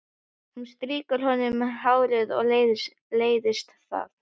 Hún strýkur honum um hárið en leiðist það.